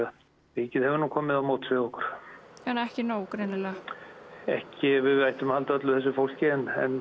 ríkið hefur nú komið á móts við okkur en ekki nóg greinilega ekki ef við ættum að halda öllu þessu fólki en